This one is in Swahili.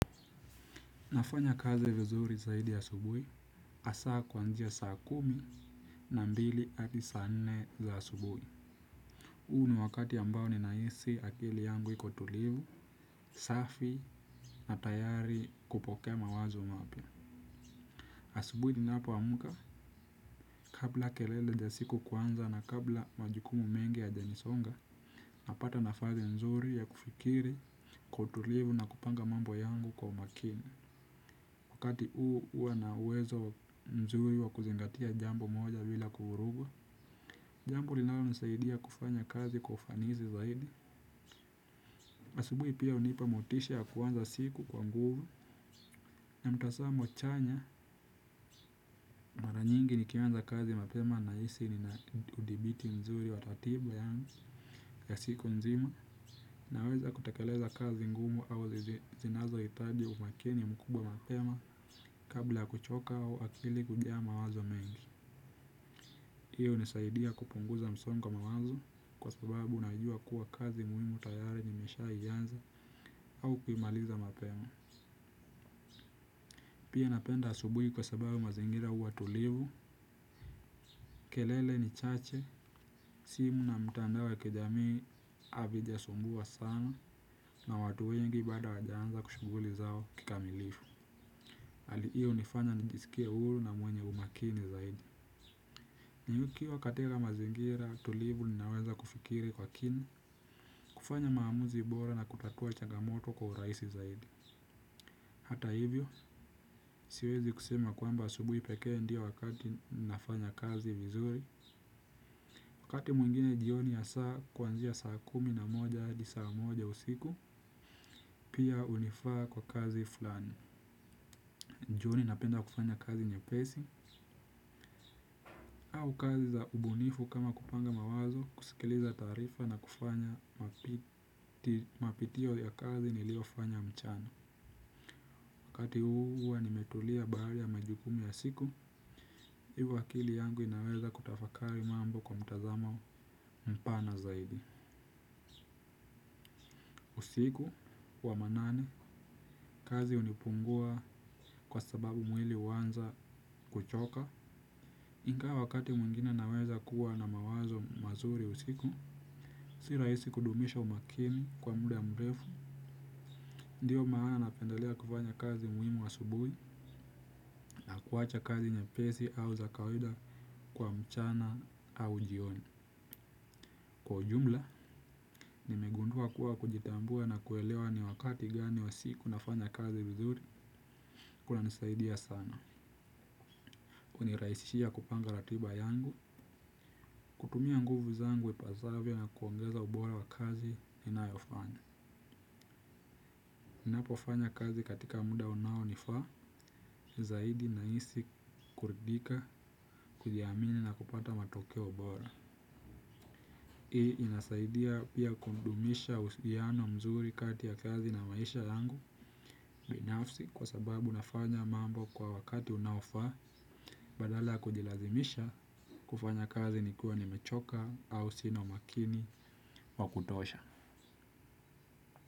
Nafanya kazi vizuri zaidi asubuhi, asaa kwanzia saa kumi na mbili adi saa nne za asubuhi. U ni wakati ambao ninaisi akili yangu iko tulivu, safi na tayari kupokea mawazo mapya. Asubuhi ninapoamka, kabla kelele ja siku kuanza na kabla majukumu mengi yajanisonga, napata nafazi nzuri ya kufikiri kwa utulivu na kupanga mambo yangu kwa umakini. Wakati uu uwa na uwezo mzuri wa kuzingatia jambo moja bila kuvuruga. Jambo linalonisaidia kufanya kazi kwa ufanizi zaidi asubui pia unipa motisha ya kuanza siku kwa nguvu. Na mtasamo chanya mara nyingi nikianza kazi mapema naisi ninaudhibiti mzuri wa ratiba yangu ya siku nzima. Naweza kutekeleza kazi ngumu au zinazoitaji umakini mkubwa mapema kabla kuchoka au akili kujaa mawazo mengi. Hii unisaidia kupunguza msongo wa mawazo kwa sababu najua kuwa kazi muhimu tayari nimeshaianza au kuimaliza mapema. Pia napenda asubuhi kwa sababu mazingira uwa tulivu, kelele ni chache, simu na mtandao ya kijamii avijasumbua sana na watu wengi bado hawajaanza shuguli zao kikamilifu. Ali hiyo unifanya nijiskie huru na mwenye umakini zaidi. Nikiwa katika mazingira tulivu ninaweza kufikiri kwa kina, kufanya maamuzi bora na kutatua chagamoto kwa uraisi zaidi. Hata hivyo, siwezi kusema kwamba asubuhi pekee ndio wakati nafanya kazi vizuri. Wakati mwingine jioni saa kuanzia saa kumi na moja adi saa moja usiku, pia unifaa kwa kazi flani. Jioni napenda kufanya kazi nyepesi, au kazi za ubunifu kama kupanga mawazo, kusikiliza taarifa na kufanya mapitio ya kazi niliofanya mchana. Wakati huu huwa nimetulia baada ya majukumu ya siku, hivo akili yangu inaweza kutafakari mambo kwa mtazamo mpana zaidi. Usiku wa manane, kazi unipungua kwa sababu mwili uanza kuchoka. Ingawa wakati mwengine naweza kuwa na mawazo mazuri usiku, si raisi kudumisha umakini kwa muda mrefu, ndio maana napendelea kufanya kazi muhimu asubuhi na kuwacha kazi nyepesi au za kawida kwa mchana au jioni. Kwa ujumla, nimegundua kuwa kujitambua na kuelewa ni wakati gani wa siku nafanya kazi vizuri, kunanisaidia sana. Uniraisishia kupanga ratiba yangu, kutumia nguvu zangu ipasavyo na kuongeza ubora wa kazi ninayofanya. Ninapofanya kazi katika muda unaonifaa, zaidi naisi kuridhika, kujiamini na kupata matokeo bora. Hii inasaidia pia kundumisha husiano mzuri kati ya kazi na maisha yangu binafsi kwa sababu nafanya mambo kwa wakati unaofaa badala ya kujilazimisha kufanya kazi nikiwa nimechoka au sina umakini wa kutosha.